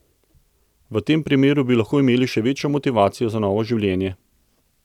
V tem primeru bi lahko imeli še večjo motivacijo za novo življenje.